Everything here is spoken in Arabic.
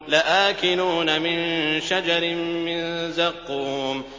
لَآكِلُونَ مِن شَجَرٍ مِّن زَقُّومٍ